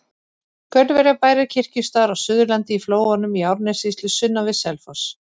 Gaulverjabær er kirkjustaður á Suðurlandi, í Flóanum í Árnessýslu sunnan við Selfoss.